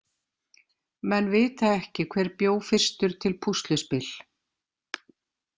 Menn vita ekki hver bjó fyrstur til púsluspil.